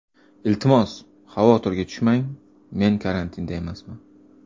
Iltimos, xavotirga tushmang, men karantinda emasman.